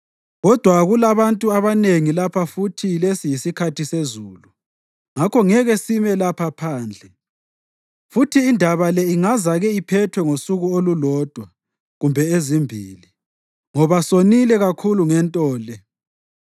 Kodwa kulabantu abanengi lapha futhi lesi yisikhathi sezulu; ngakho ngeke sime lapha phandle. Futhi indaba le ingazake iphethwe ngosuku olulodwa kumbe ezimbili, ngoba sonile kakhulu ngento le.